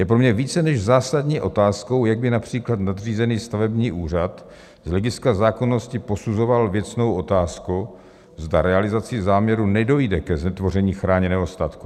Je pro mě více než zásadní otázkou, jak by například nadřízený stavební úřad z hlediska zákonnosti posuzoval věcnou otázku, zda realizací záměru nedojde ke znetvoření chráněného statku.